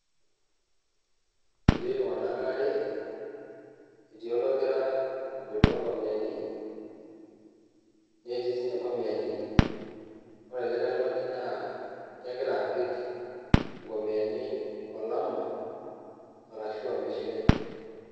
Etii iltung'anak waare, etii ologira aboloo nkomiani , netii sininche nkomiani , ore olikae tungani naa kegira apik nkomiyani olama arashua ormishira.